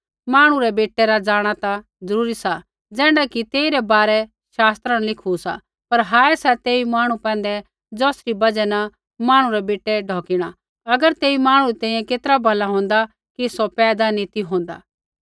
मांहणु रै बेटै रा जाँणा ता ज़रूरी सा ज़ैण्ढा कि तेइरै बारै पवित्र शास्त्र न लिखू सा पर हाय सा तेई मांहणु पैंधै ज़ौसरी बजहा न मांहणु रै बेटै ढौकिणा अगर तेई मांहणु री तैंईंयैं केतरा भला होंदा कि सौ पैदा नी ती होंदा